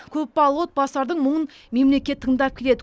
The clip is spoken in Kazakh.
көпбалалы отбасылардың мұңын мемлекет тыңдап келеді